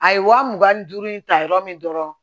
A ye wa mugan ni duuru in ta yɔrɔ min dɔrɔn